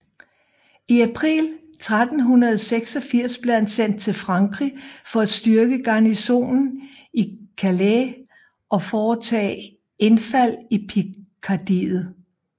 I april 1386 blev han sendt til Frankrig for at styrke garnisonen i Calais og foretage indfald i Pikardiet